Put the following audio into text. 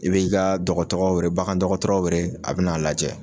I b'i ka dɔgɔtɔgɔ were bagan dɔgɔtɔrɔ were a bi n'a lajɛ